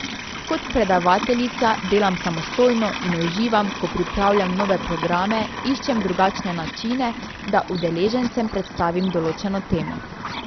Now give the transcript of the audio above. Kot predavateljica delam samostojno in uživam, ko pripravljam nove programe, iščem drugačne načine, da udeležencem predstavim določeno temo.